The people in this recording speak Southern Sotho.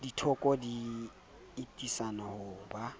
dithoko di atisang ho ba